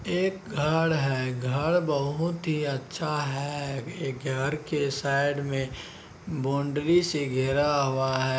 एक घर है। घर बोहोत ही अच्छा है। ये घर के साइड मे बॉन्डरी से घिरा हुआ है।